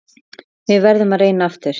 Við verðum að reyna aftur.